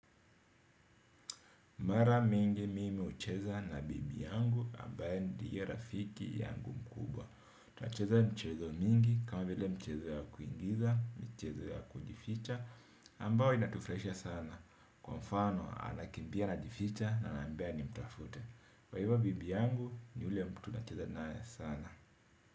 Mara mingi mimi hucheza na bibi yangu ambaye ndiye rafiki yangu mkubwa. Tunacheza mchezo mingi kama vile mchezo ya kuigiza, mchezo ya kujificha ambayo inatufurahisha sana. Kwa mfano anakimbia anajificha na ananiambaa nimtafute. Kwa hivyo bibi yangu ni yule mtu tunacheza naye sana.